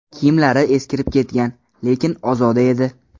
Kiyimlari eskirib ketgan, lekin ozoda edi.